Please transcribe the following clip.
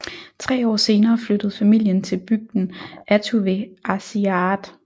Tre år senere flyttede familien til bygden Attu ved Aasiaat